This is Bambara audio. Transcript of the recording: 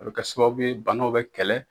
A be kɛ sababu ye, banaw be kɛlɛ